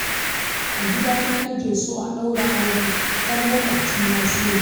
A gidana nake so a ɗaura auren 'yar maƙwabcina Shehu